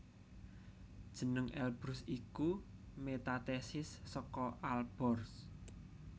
Jeneng Elbrus iku metathesis saka Alborz